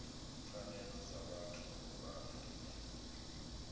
pfanelo dza vhuthu ya afrika